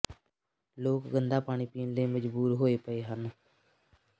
ਲੋਕ ਗੰਦਾ ਪਾਣੀ ਪੀਣ ਲਈ ਮਜਬੂਰ ਹੋਏ ਪਏ ਹਨ